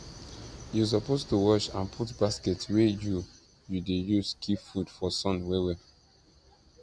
you suppose to wash and put basket wey you you dey use keep food for sun well well